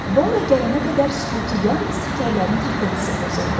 Borya gələnə qədər sükutu yalnız təkərlərin takıltısı pozurdu.